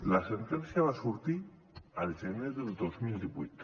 la sentència va sortir el gener del dos mil divuit